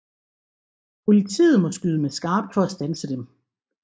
Politiet må skyde med skarpt for at standse dem